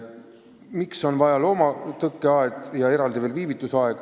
Miks on vajalik loomatõkkeaed ja eraldi veel viivitusaed?